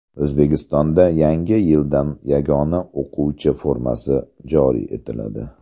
O‘zbekistonda yangi yildan yagona o‘quvchi formasi joriy etiladi.